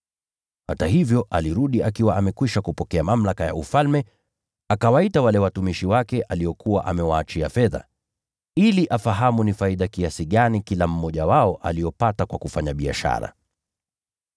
“Hata hivyo alirudi akiwa amekwisha kupokea mamlaka ya ufalme, akawaita wale watumishi wake aliokuwa amewaachia fedha, ili afahamu ni faida kiasi gani kila mmoja wao aliyopata kwa kufanya biashara.